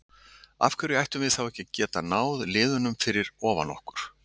Af hverju ættum við þá ekki að geta náð liðunum fyrir ofan okkur?